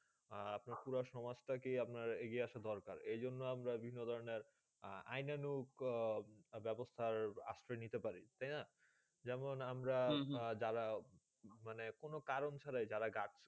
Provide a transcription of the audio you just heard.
আপনার পুরো সমাজ তা কে এগিয়ে আসার দরকার এই জ্ঞানের আমরা বিভিন্ন ধরণে আইনানুক বেবস্তা আসবে আশ্রয়ে নিতে পারি তাই না যেমন যারা কোনো কারণ ছাড়া যারা